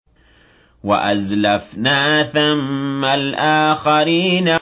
وَأَزْلَفْنَا ثَمَّ الْآخَرِينَ